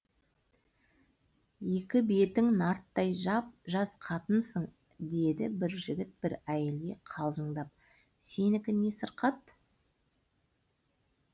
екі бетің нарттай жап жас қатынсың деді бір жігіт бір әйелге қалжыңдап сенікі не сырқат